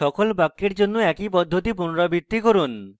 সকল ব্যাক্যের জন্য একই পদ্ধতি পুনরাবৃত্তি করুন